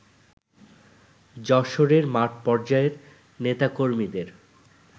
যশোরের মাঠ পর্যায়ের নেতাকর্মীদের